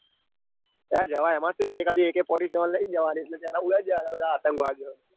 હા જવાય એમાં સુ એકાદી a k fourty-seven લાઈન જવાની અને ત્યાંના ઉડાડી લેવાના બધા આતંગવાદીઓ ને.